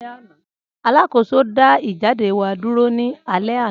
Alakoso da ijade wa duro ni alẹ ana.